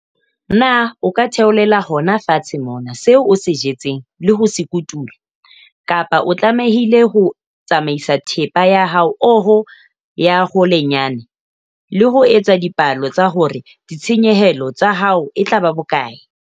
Na o ka theolela hona fatshe mona seo o se jetseng le ho se kotula, kapa o tlamehile ho tsamaisa thepa ya ha oho ya holenyana, le ho etsa dipalo tsa hore ditshenyehelo tsa hao e tla ba bokae?